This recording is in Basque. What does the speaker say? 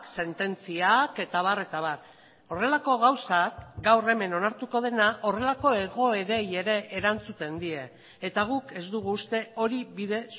sententziak eta abar eta abar horrelako gauzak gaur hemen onartuko dena horrelako egoerei ere erantzuten die eta guk ez dugu uste hori bide